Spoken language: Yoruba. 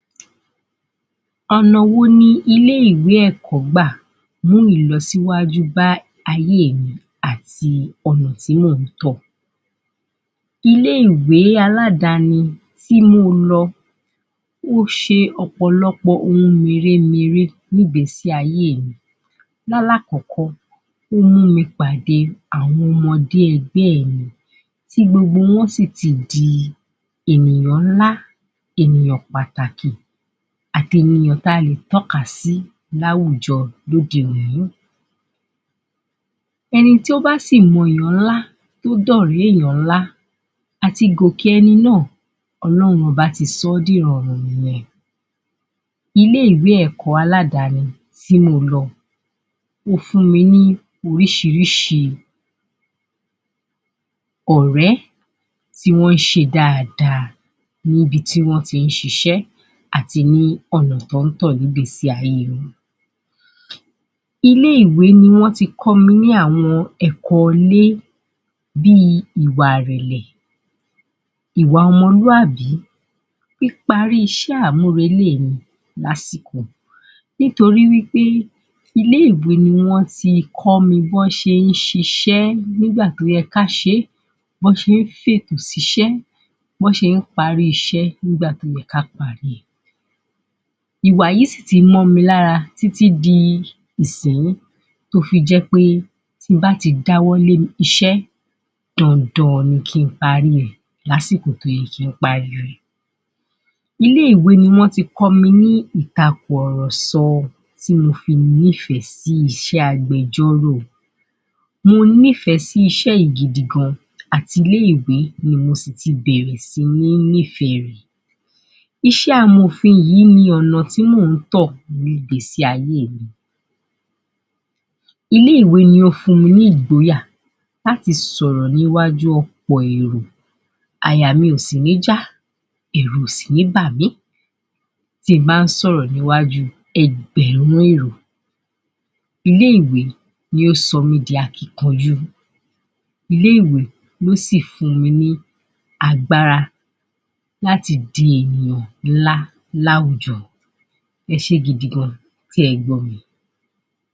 Ọ̀nà wo ni ilé ìwé ẹ̀kọ́ gbà mú ìlọsíwájú bá ayé èmi àti ọ̀nà tí mòún tọ̀. Ilé ìwé aládani tí mo lọ, ó ṣe ọ̀pọ̀lọpọ̀ ohun mèremère nínu ìgbésí ayé mi. Lálákọ̀ọ́kọ́, ó mú mi pàdé àwọn ọmọdé ẹgbẹ́ mi tí gbogbo wọn sì ti di ènìyàn ńlá, ènìyàn pàtàkì àti ènìyàn ta lè tọ́ka sí láwùjọ lódi ìlú. Ẹni tó bá si mọ èyàn ńlá, tó dọ̀rẹ́ èyàn ńlá, à ti gòkè ẹni náà, ọlọ́run ọba ti sọ́ ní ìrọ̀rùn nìyẹn. Ilé ìwé ẹ̀kọ́ aládani tí mo lọ, ó fún mi ní oríṣiríṣi ọ̀rẹ́ tí wọ́n ṣe dáadáa níbi tí wọ́n tí ń ṣisẹ́ àti ní ọ̀nà tí wọ́n tọ̀ ní ilé ayé wọn. Ilé ìwè ni wọ́n ti kọ́ mi ní àwọn ẹ̀kọ́ ilé bíi ìwà ìrẹ̀lẹ̀, ìwà ọmọlúàbí, píparí iṣẹ́ àmúrelé mi lásìkò nítorí wípé ilé ìwé ni wọ́n ti kọ́ mi bí wọ́n ṣe ń ṣiṣẹ́ nígbà tí ó yẹ ká ṣé, bí wọ́n ṣe fètò síṣẹ́, bí wọ́n ṣe ń parí iṣẹ́ nígbà tó yẹ ká parí. Ìwà yìí sí ti mọ́ mi lára títí di ìsinyìí tó fi jẹ́ pé tí n báti dáwọ́ lórí iṣẹ́, dandan ni kí n parí rẹ̀ lásìkò tó yẹ. Ilé ìwé ní wọ́n ti kọ́ mi ní ìtakùrọ̀sọ tí mo fi ní ìfẹ́ sí iṣẹ́ agbẹjọ́rò, mo ní ìfẹ́ sí iṣẹ́ yìí gidi gan, àti ilé ìwé ni mo sì ti bẹ̀rẹ̀ si ní ní ìfẹ́ rẹ̀. Iṣé àmòfin yìí ni ọ̀nà tí mò ń tọ̀ ní ìgbésí ayé mi, ilé ìwé ni ó fún mi ní ìgboyà láti sọ̀rọ̀ ní iwájú ọ̀pọ̀ èrò, àyà mi ò sí ní já, ẹ̀rù ò sì ní bàmí tí n bá ń sọ̀rọ̀ níwájú ẹgbẹ̀rún èrò. Ilé ìwé ni ó sọ mí di akíkanjú, ilé ìwé ni ó sì fún mi ní agbára láti di ènìyàn nílá láwùjọ. Ẹṣẹ́ gidi gan tí ẹ gbọ́ mi.